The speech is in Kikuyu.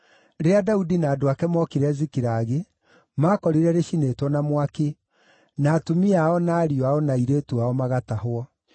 Rĩrĩa Daudi na andũ ake mookire Zikilagi, maakorire rĩcinĩtwo na mwaki, na atumia ao na ariũ ao na airĩtu ao magatahwo.